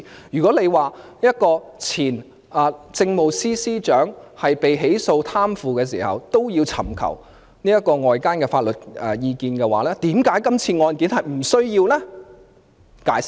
如果說前政務司司長被起訴貪腐時也要尋求外間法律意見，為甚麼今次的案件卻不需要？